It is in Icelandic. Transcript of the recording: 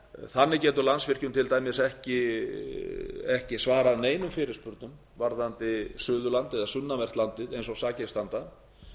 þannig getur landsvirkjun til dæmis ekki svarað neinum fyrirspurnum varðandi suðurland eða sunnanvert landið eins og sakir standa